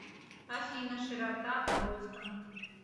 афина широта бостон